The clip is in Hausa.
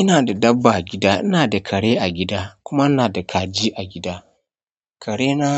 Ina da dabba a gida, ina da kare a gida kuma ina da kaji a gida. Kare na